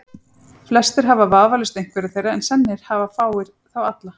Flestir hafa vafalaust einhverja þeirra, en sennilega hafa fáir þá alla.